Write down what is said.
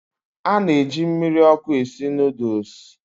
A na-eji mmiri ọkụ esi nudlesu